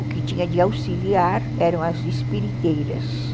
O que tinha de auxiliar eram as espiriteiras.